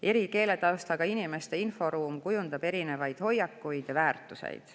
Eri keeletaustaga inimeste erinev inforuum kujundab erinevaid hoiakuid ja väärtusi.